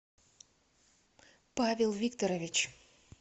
павел викторович